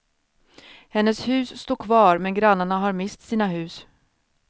Hennes hus står kvar men grannarna har mist sina hus.